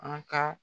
An ka